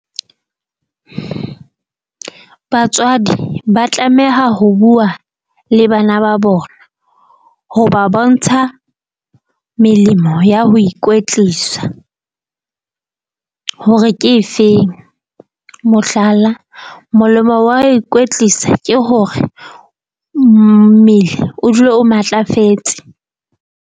Batswadi ba tlameha ho bua le bana ba bona ho ba bontsha melemo ya ho ikwetlisa hore ke efeng mohlala, molemo wa ikwetlisa ke hore mmele o dule o matlafetse.